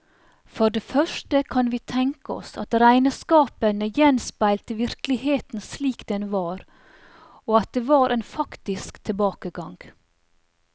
For det første kan vi tenke oss at regnskapene gjenspeilte virkeligheten slik den var, og at det var en faktisk tilbakegang.